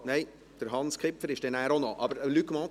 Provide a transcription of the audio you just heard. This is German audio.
– Ach nein, danach kommt noch Hans Kipfer.